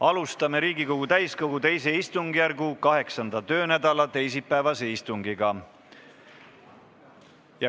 Alustame Riigikogu täiskogu II istungjärgu 8. töönädala teisipäevast istungit.